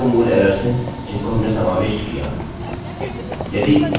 अतः यह दो मूल एरर्सerrors हैं जिनको हमने समाविष्ट किया